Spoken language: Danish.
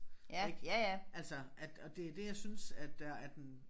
Ik altså at og det det jeg synes at der er den